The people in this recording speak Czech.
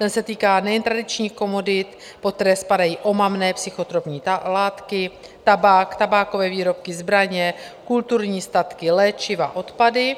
Ten se týká nejen tradičních komodit, pod které spadají omamné psychotropní látky, tabák, tabákové výrobky, zbraně, kulturní statky, léčiva, odpady,